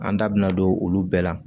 An da bina don olu bɛɛ la